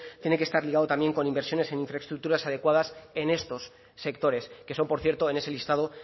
tienen que estar ligado también con inversiones en infraestructuras adecuadas en estos sectores que son por cierto en ese listado